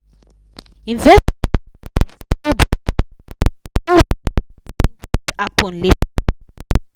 investor just rush sell dia stocke no reason wetin fit happen later.